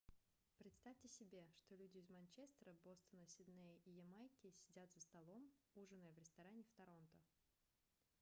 представьте себе что люди из манчестера бостона сиднея и ямайки сидят за столом ужиная в ресторане в торонто